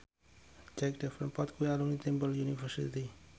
Jack Davenport kuwi alumni Temple University